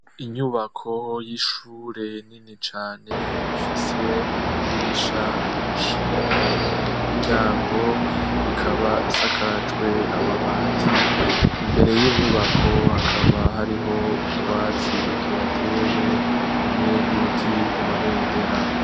Inyubako y'ishure nini cane ifise amadirisha menshi hamwe n'imiryango, ikaba isakajwe amabati, imbere y'iyo nyubako hakaba hariho utwatsi tuhatewe hamwe n'ibiti vy'amabendera.